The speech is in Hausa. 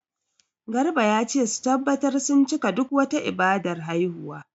Garba ya ce su tabbatar sun cika duk wata ibadar haihuwa.